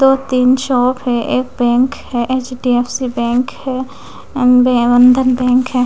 दो तीन शॉप है एक बैंक है H_ D_ F_ C_ bank है अ बंधन बैंक है।